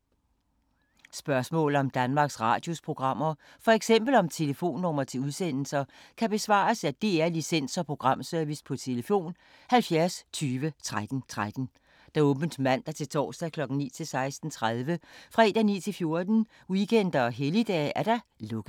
Spørgsmål om Danmarks Radios programmer, f.eks. om telefonnumre til udsendelser, kan besvares af DR Licens- og Programservice: tlf. 70 20 13 13, åbent mandag-torsdag 9.00-16.30, fredag 9.00-14.00, weekender og helligdage: lukket.